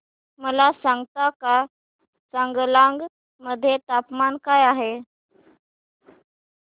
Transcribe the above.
मला सांगता का चांगलांग मध्ये तापमान काय आहे